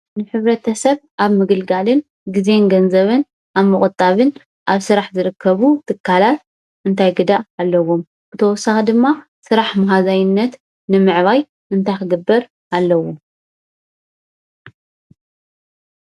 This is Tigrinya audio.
ንሕብረተሰብ ኣብ ምግልጋልን ግዜን ገዘብን ኣብ ምቁጣብን ኣብ ስራሕ ዝርከቡ ትካላት እንታይ ግደ ኣለዎም ? ብተወሳኺ ድማ ስራሕ መሃዛይነት ንምዕባይ እንታይ ክግበር ኣለዎ ?